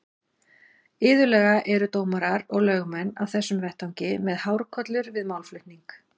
Iðulega eru dómarar og lögmenn á þessum vettvangi með hárkollur við málflutning.